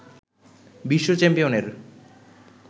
বিশ্ব চ্যাম্পিয়নের